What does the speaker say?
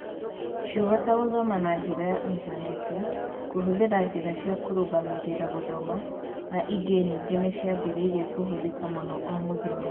Ciugo ta gũthoma na njĩra ya Intaneti, kũhũthĩra njĩra cia kũrũgamĩrĩra gũthoma, na ingĩ nyingĩ nĩ ciambĩrĩirie kũhũthĩka mũno o mũthenya